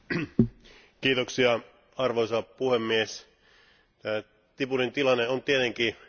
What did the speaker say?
Arvoisa puhemies, Djiboutin tilanne on tietenkin erittäin haastava.